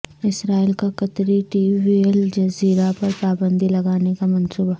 اسرائیل کا قطری T V Al Jazeera پر پابندی لگانے کا منصوبہ